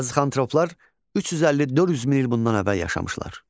Azıxantroplar 350-400 min il bundan əvvəl yaşamışlar.